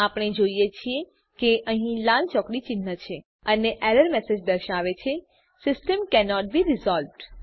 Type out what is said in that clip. આપણે જોઈએ છીએ કે અહીં લાલ ચોકડી ચિન્હ છે અને એરર મેસેજ દર્શાવે છે સિસ્ટમ કેનોટ બે રિઝોલ્વ્ડ